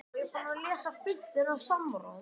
Er ekki árangurinn í sumar framar væntingum?